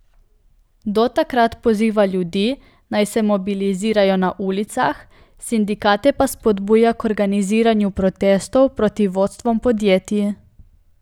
Do takrat poziva ljudi, naj se mobilizirajo na ulicah, sindikate pa spodbuja k organiziranju protestov proti vodstvom podjetij.